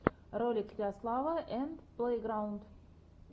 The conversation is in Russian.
ролик ярослава энд плэйграунд